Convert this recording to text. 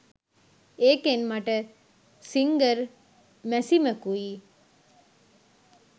ඒකෙන් මට සිංගර් මැසිමකුයි